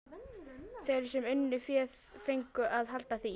Þeir sem unnu fé fengu að halda því.